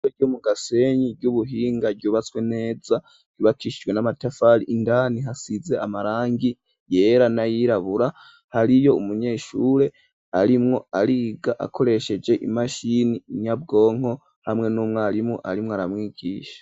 ishure ryo mu gasenyi ry'ubuhinga ryubatswe neza ryubakishijwe n'amatafari indani hasize amarangi yera nayirabura hariyo umunyeshure arimwo ariga akoresheje imashini inyabwonko hamwe n'umwarimu arimwo aramwigisha.